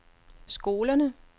skolerne